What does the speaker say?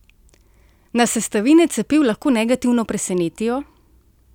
Nas sestavine cepiv lahko negativno presenetijo?